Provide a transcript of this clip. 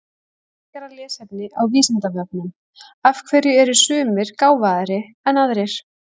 Frekara lesefni á Vísindavefnum Af hverju eru sumir gáfaðri en aðrir?